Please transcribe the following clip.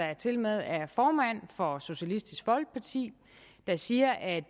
der tilmed er formand for socialistisk folkeparti der siger at